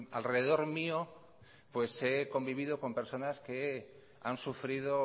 alrededor mío he convivido con personas que han sufrido